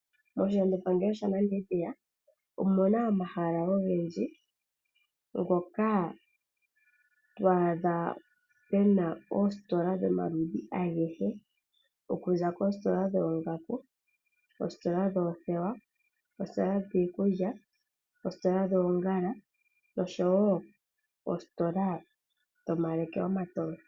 Moshilandopangelo shaNamibia omu na omahala ogendji ngoka twaadha pu na oositola dhomaludhi agehe okuza koositola dhoongaku, koositola yoothewa, koositola dhiikulya, koositola dhoongala noshowo koositola dhomaleke omatoye.